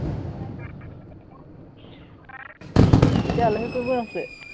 এতিয়া আলহী কোন কোন আছে?